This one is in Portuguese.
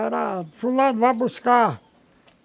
Era... Fulano, vai buscar.